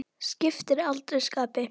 Skiptir aldrei skapi.